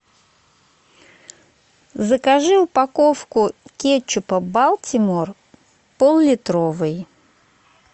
закажи упаковку кетчупа балтимор поллитровый